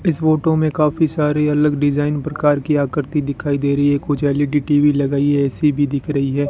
इस फोटो में काफी सारी अलग डिजाइन प्रकार की आकृति दिखाई दे रही है कुछ एल_इ_डी टी_वी लगाई है ए_सी भी दिख रही है।